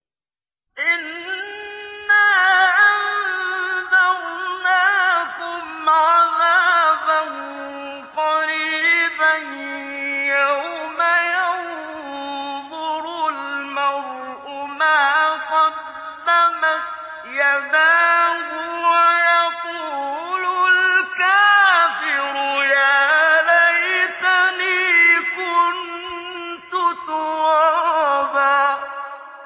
إِنَّا أَنذَرْنَاكُمْ عَذَابًا قَرِيبًا يَوْمَ يَنظُرُ الْمَرْءُ مَا قَدَّمَتْ يَدَاهُ وَيَقُولُ الْكَافِرُ يَا لَيْتَنِي كُنتُ تُرَابًا